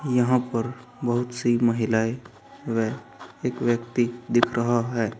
यहां पर बहुत सी महिलाएं व एक व्यक्ति दिख रहा है।